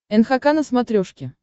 нхк на смотрешке